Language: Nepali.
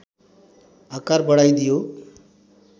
आकार बढाइदियो